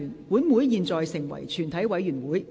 本會現在成為全體委員會。